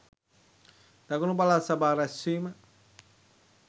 දකුණු පළාත් සභා රැස්වීම